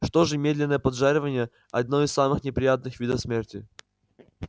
что же медленное поджаривание одно из самых неприятных видов смерти